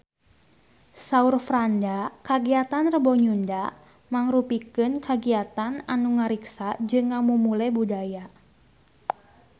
Saur Franda kagiatan Rebo Nyunda mangrupikeun kagiatan anu ngariksa jeung ngamumule budaya Sunda